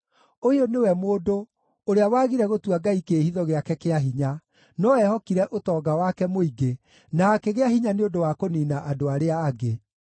“Ũyũ nĩwe mũndũ ũrĩa wagire gũtua Ngai kĩĩhitho gĩake kĩa hinya, no eehokire ũtonga wake mũingĩ, na akĩgĩa hinya nĩ ũndũ wa kũniina andũ arĩa angĩ!”